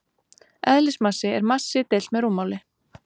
Eðlismassi er massi deilt með rúmmáli.